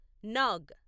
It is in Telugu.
నాగ్